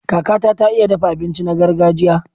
Kakata ta iya dafa abinci na gargajiya.